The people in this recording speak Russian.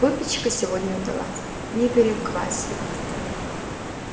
выпечка сегодня удалась не переквасили